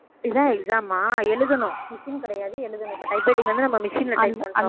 இதான் exam ஆ எழுதணும் machine கிடையாது எழுதணும் இப்ப typewriting வந்து நம்ம machine ல type பண்றோம்